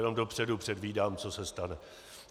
Jenom dopředu předvídám, co se stane.